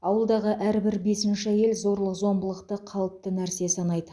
ауылдағы әрбір бесінші әйел зорлық зомбылықты қалыпты нәрсе санайды